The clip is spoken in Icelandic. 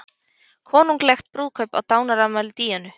Konunglegt brúðkaup á dánarafmæli Díönu